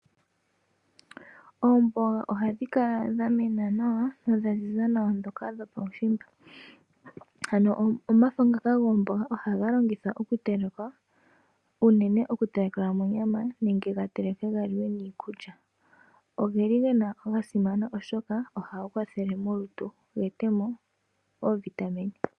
Oomboga ohadhikala dhamena nawa nodhaziza nawa dhoka dhokuushimba, ano omafo ngoka gomboga ohaga longithwa okutelekwa uunene okutelekelwa monyama nenge gatelekwe galiwe niikulya. Ogeli gasimana oshoka ohaga kwathele molutu ga etemo oovitamine.